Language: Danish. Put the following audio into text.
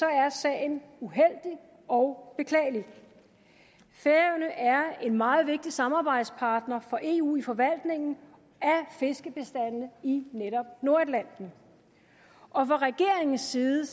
er sagen uheldig og beklagelig færøerne er er en meget vigtig samarbejdspartner for eu i forvaltningen af fiskebestandene i netop nordatlanten fra regeringens side